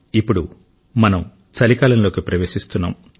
ఇప్పుడు మనం చలికాలంలోకి ప్రవేశిస్తున్నాం